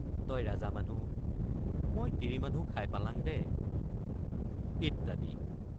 তই ৰাজা মানুহ মই তিৰী মানুহ খাই পালাং দে ইত্যাদি।